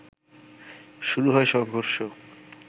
শুরু হয় সংঘর্ষ